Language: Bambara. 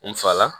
N fa la